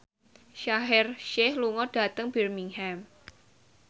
Shaheer Sheikh lunga dhateng Birmingham